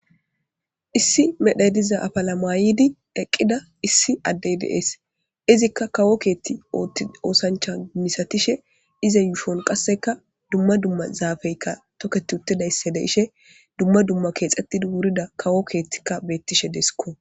issi medhay diza afala maayidi eqqida issi addey deees izikka kawo keethti oosancha misatishe ize yuushon qasseka dumma dumma zaafeykka toket uttidaysse deishe dumma dumma keexettidi wurida kawo keettikka bettishe deesikko